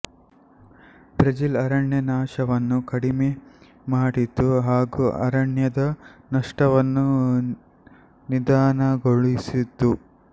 Brazil ಅರಣ್ಯನಾಶವನ್ನು ಕಡಿಮೆ ಮಾಡಿತು ಹಾಗು ಅರಣ್ಯದ ನಷ್ಟವನ್ನು ನಿಧಾನಗೊಳಿಸಿತು